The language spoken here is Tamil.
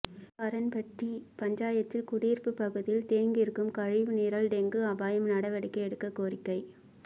எருத்துக்காரன்பட்டி பஞ்சாயத்தில் குடியிருப்பு பகுதியில் தேங்கியிருக்கும் கழிவுநீரால் டெங்கு அபாயம் நடவடிக்கை எடுக்க கோரிக்கை